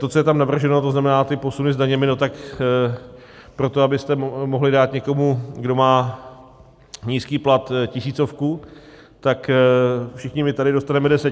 To, co je tam navrženo, to znamená ty posuny s daněmi, no tak proto, abyste mohli dát někomu, kdo má nízký plat, tisícovku, tak všichni my tady dostaneme 10 tisíc.